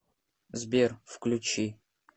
сбер включи чит кодс